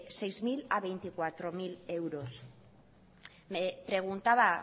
seis mil a veinticuatro mil euros me preguntaba